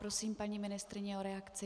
Prosím paní ministryni o reakci.